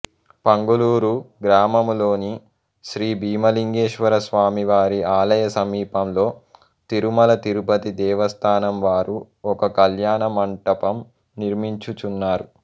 పంగులూరు గ్రామములోని శ్రీ భీమలింగేశ్వరస్వామి వారి ఆలయ సమీపంలో తిరుమల తిరుపతి దేవస్థానం వారు ఒక కళ్యాణమంటపం నిర్మించుచున్నారు